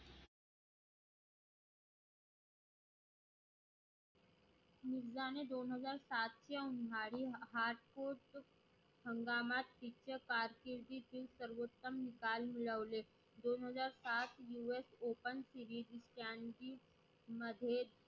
मिर्झा ने दोन हजार सातची उन्हाळी hasport हंगामा येथील सर्व उत्तम स्थान मिळवले दोन हजार सात US Open series प्रान्जी मध्ये.